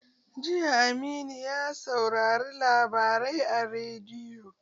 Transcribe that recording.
Jiya Aminu ya saurari labarai a rediyo